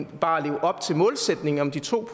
bare at leve op til målsætningen om de to